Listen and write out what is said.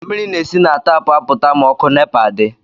Mmiri na-esi na tapụ apụta ma ọkụ nepa di